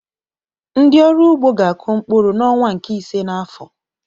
Ndị ọrụ ugbo ga-akụ mkpụrụ n'ọnwa nke ise n'afọ